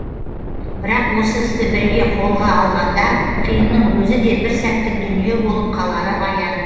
бірақ осы істі біріге қолға алғанда қиынның өзі де бір сәттік дүние болып қалары аян